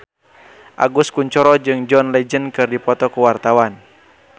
Agus Kuncoro jeung John Legend keur dipoto ku wartawan